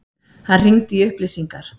Hann hringdi í upplýsingar.